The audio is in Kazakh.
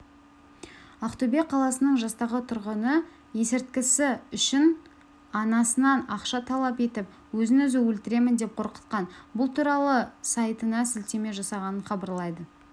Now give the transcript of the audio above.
ақтөбе қаласының жастағы тұрғыны есірткісі үшін анасынан ақша талап етіп өзін-өзі өлтіремін деп қорқытқан бұл туралы сайтына сілтеме жасаған хабарлайды